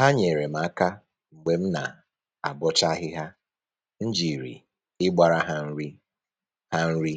Ha nyeere m aka mgbe m na-abọcha ahịhịa, m jiri ịgbara ha nri ha nri